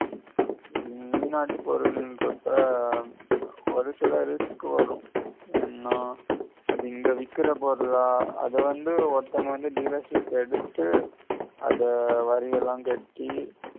உம் வெளிநாட்டு பொருளுங்கறப்ப ஒரு சில risk வரும் ஏன்னா அது இங்க விக்கிற பொருளா அத வந்து ஒருத்தங்க வந்து dealer ship எ எடுத்து அத வரியெல்லாம் கட்டி